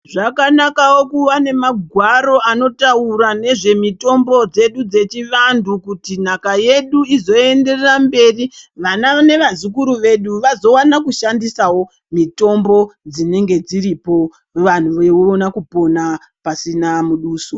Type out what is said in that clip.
Zvakanakawo kuva nemagwaro anotaura nezvemitombo dzedu dzechivantu kuti nhaka yedu izoenderera mberi, vana nevazukuru vedu vazowana kushandisawo mitombo dzinenge dziripo vantu veiona kupona pasina muduso.